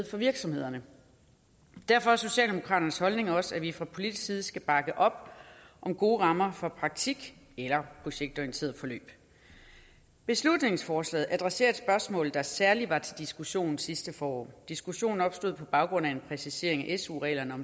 for virksomhederne derfor er socialdemokraternes holdning også at vi fra politisk side skal bakke op om gode rammer for praktik eller projektorienterede forløb beslutningsforslaget adresserer et spørgsmål der særlig var til diskussion sidste forår diskussionen opstod på baggrund af en præcisering af su reglerne